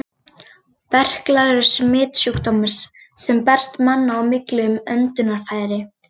Berklar eru smitsjúkdómur, sem berst manna á milli um öndunarfæri.